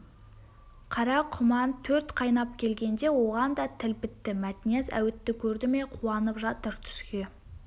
қара құман төрт қайнап келгенде оған да тіл бітті мәтнияз әуітті көрді ме қуанып жатыр түске